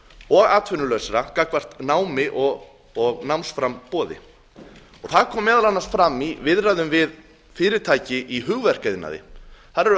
og atvinnulausra gagnvart námi og námsframboði það kom meðal annars fram í viðræðum við fyrirtæki í hugverkaiðnaði þar erum við að